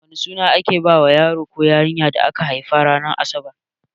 Wane suna ake bawa yaro da yarinya da aka haifa ranar asabar?